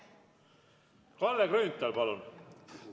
Kalle Grünthal, palun!